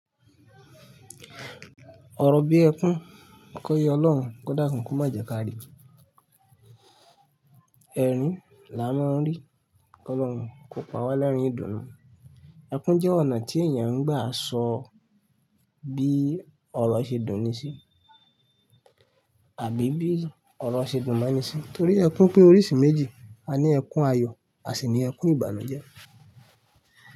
Ọ̀rọ̀ bí ẹkún kò yé Ọlọ́run, kó dakún ko má jẹ káàrí. Erin là á máa ń rí, kí Ọlọ́run kò pa wá lẹ́rìn ìdùnnú. Ẹkún jẹ́ ọ̀nà tí èèyàn ń gbà sọ bí ọ̀rọ̀ ṣe dùn ní sí àbí bí ọ̀rọ̀ ṣe dùn mọ́ ní sì. Nítorí ẹkún pín oríṣi méjì, a ní ẹkún ayọ̀ àṣì ní ẹkún ìbànújẹ́.